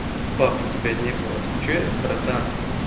баб у тебя не было ты что братан